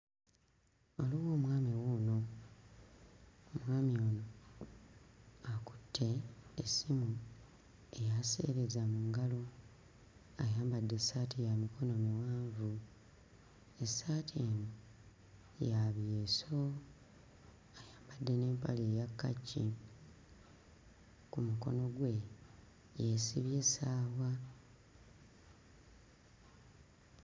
Waliwo omwami wuuno; omwami ono akutte essimu eya sseereza mu ngalo ayambadde essaati ya mikono miwanvu. Essaati ya byeso ayamabdde n'emapale eya kkaki ku mukono gwe yeesibye essaawa.